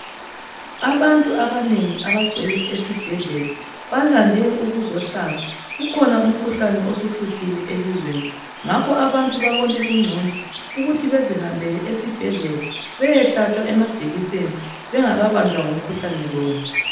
Abantu abanengi abagcwele esibhedlela balande ukuzohlaba kukhona umkhuhlane osuhluphile elizweni ngakho abantu babone kuncono ukuthi bezihambele esibhedlela beyehlatshwa amajekiseni bengaka banjwa ngumkhuhlane lowu